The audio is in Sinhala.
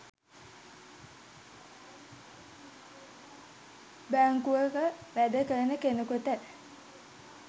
බැංකුවක වැඩ කරන කෙනෙකුට